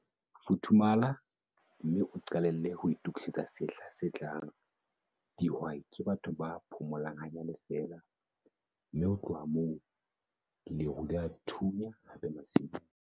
Futhumala, mme o qalelle ho itokisetsa sehla se tlang - dihwai ke batho ba phomolang hanyane feela, mme ho tloha moo, leru le a thunya hape masimong!